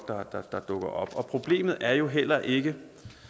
dukker op problemet er jo heller ikke